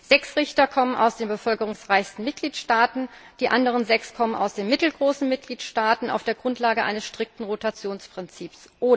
Oder Sechs Richter kommen aus den bevölkerungsreichsten Mitgliedstaaten, die anderen sechs kommen aus den mittelgroßen Mitgliedstaaten auf der Grundlage eines strikten Rotationsprinzips.